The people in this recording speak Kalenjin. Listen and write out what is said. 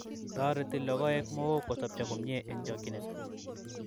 Toreti logoek Mook kosobcho komie eng chokchinet